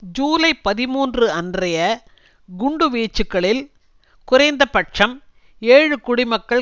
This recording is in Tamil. ஜூலை பதிமூன்று அன்றைய குண்டு வீச்சுக்களில் குறைந்த பட்சம் ஏழு குடிமக்கள்